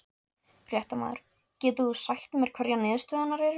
Fréttamaður: Getur þú sagt mér hverjar niðurstöðurnar eru?